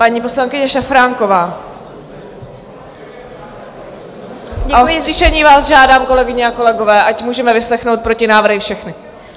Paní poslankyně Šafránková - a o ztišení vás žádám, kolegyně a kolegové, ať můžeme vyslechnout protinávrhy všechny.